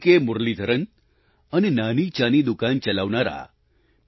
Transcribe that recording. મુરલીધરન અને નાની ચા ની દુકાન ચલાવનારા પી